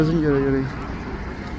Gözün görə görə.